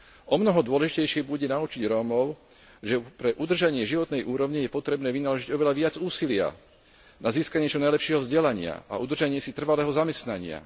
Omnoho dôležitejšie bude naučiť Rómov, že pre udržanie životnej úrovne je potrebné vynaložiť oveľa viac úsilia na získanie čo najlepšieho vzdelania a udržanie si trvalého zamestnania.